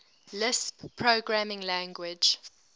lisp programming language